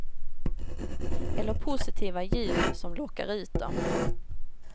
Eller positiva ljud som lockar ut dem.